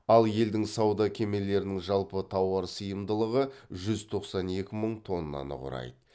ал елдің сауда кемелерінің жалпы тауар сыйымдылығы жүз тоқсан екі мың тоннаны құрайды